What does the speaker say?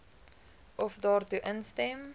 of daartoe instem